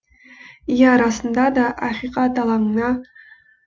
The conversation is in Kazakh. иә расында да ақиқат алаңына